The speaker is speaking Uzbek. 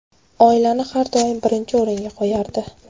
Oilani har doim birinchi o‘ringa qo‘yardi.